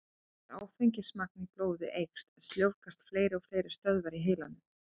Þegar áfengismagn í blóði eykst, sljóvgast fleiri og fleiri stöðvar í heilanum.